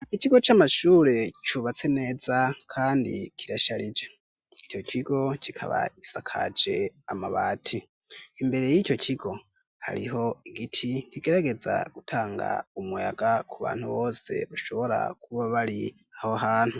ikigo camashure cubatse neza kandi kirasharije icokigo kikaba gisakaje amabati imbere yico kigo hariho igiti kigerageza gutanga umuyaga kubantu bose bashora kuba bari aho hantu